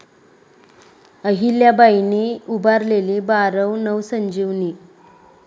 अहिल्याबाईंनी उभारलेली बारव नवसंजीवनी!